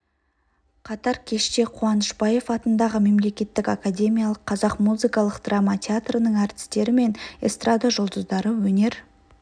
қатар кеште қуанышбаев атындағы мемлекеттік академиялық қазақ музыкалық драма театрының әртістері мен эстрада жұлдыздары өнер